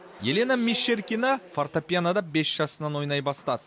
елена мещеркина фортепианода бес жасынан ойнай бастады